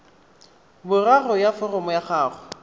boraro ya foromo ya gago